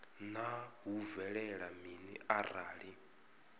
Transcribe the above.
naa hu bvelela mini arali